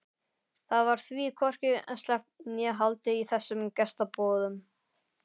Það varð því hvorki sleppt né haldið í þessum gestaboðum.